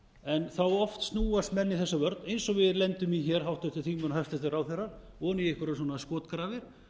en þá oft snúast menn í þessa vörn eins við lendum í hér háttvirtir þingmenn og hæstvirtir ráðherrar ofan í einhverjar skotgrafir